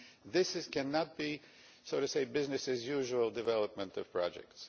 This cannot be, so to speak, a business as usual' development of projects.